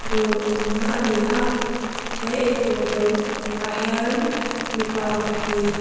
dawr awmna ani a he eitur dawr kawtah hian mipa pahnih--